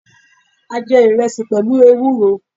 A jé ìresì pèlú ewúro